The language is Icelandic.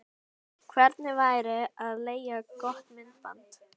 Hvernig væri að leigja gott myndband?